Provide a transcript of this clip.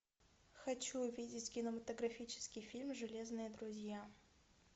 хочу увидеть кинематографический фильм железные друзья